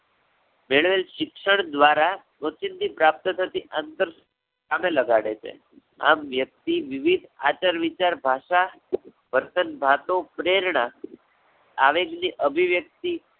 મેળવેલ શિક્ષણ દ્વારા ઓચિંતી પ્રાપ્ત થતી અંતર~ કામે લગાડે છે. આમ વ્યક્તિ વિવેક, આચાર-વિચાર, ભાષા, વર્તન, વાતો, પ્રેરણા, આવેગ ની અભિવ્યક્તિ